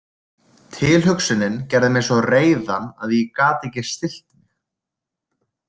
Tilhugsunin gerði mig svo reiðan að ég gat ekki stillt mig.